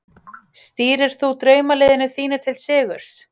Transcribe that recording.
Stýrir þú draumaliðinu þínu til sigurs?